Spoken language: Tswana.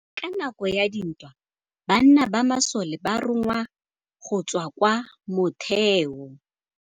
Ka nakô ya dintwa banna ba masole ba rongwa go tswa kwa mothêô.